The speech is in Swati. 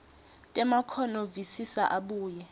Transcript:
temakhono visisa abuye